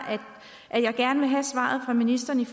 at jeg gerne have svar af ministeren